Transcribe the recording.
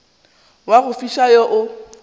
wa go fiša wo o